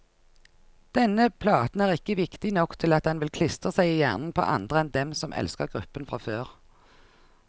Denne platen er ikke viktig nok til at den vil klistre seg i hjernen på andre enn dem som elsker gruppen fra før.